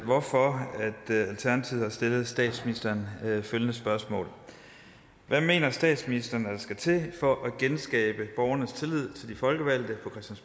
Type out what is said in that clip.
hvorfor alternativet har stillet statsministeren følgende spørgsmål hvad mener statsministeren at der skal til for at genskabe borgernes tillid til de folkevalgte